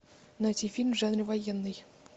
найти фильм в жанре военный